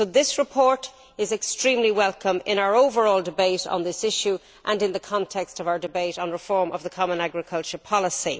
This report is extremely welcome in our overall debate on this issue and in the context of our debate on reform of the common agricultural policy.